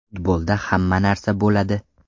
Futbolda hamma narsa bo‘ladi.